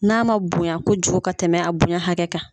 N'a ma bonya kojugu ka tɛmɛ a bonya hakɛ kan